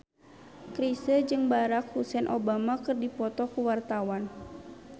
Chrisye jeung Barack Hussein Obama keur dipoto ku wartawan